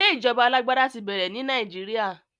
Ṣé ìjọba alágbádá ti bẹ̀rẹ̀ ní Nàìjíríà?